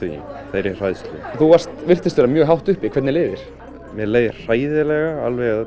þeirri hræðslu þú virtist vera mjög hátt uppi hvernig leið þér mér leið hræðilega